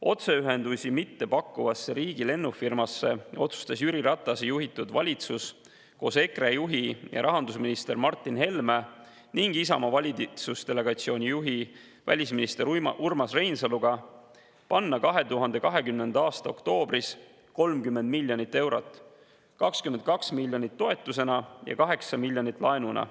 Otseühendusi mitte pakkuvasse riigi lennufirmasse otsustas Jüri Ratase juhitud valitsus koos EKRE juhi rahandusminister Martin Helme ning Isamaa valitsusdelegatsiooni juhi välisminister Urmas Reinsaluga panna 2020. aasta oktoobris 30 miljonit eurot: 22 miljonit toetusena ja 8 miljonit laenuna.